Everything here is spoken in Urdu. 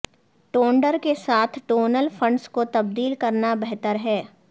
ٹونڈر کے ساتھ ٹونل فنڈز کو تبدیل کرنا بہتر ہے